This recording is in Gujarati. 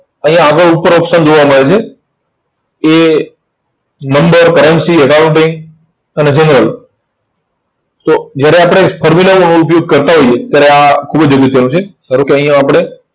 અહીંયા આગળ ઉપર option જોવા મળે છે એ number, currency, accounting અને general તો જયારે આપણે ફોર્મ્યુલાઓનું ઉપયોગ કરતા હોઈએ ત્યારે આ ખુબ જ અગત્યનું છે. ધારો કે અહીંયા આપણે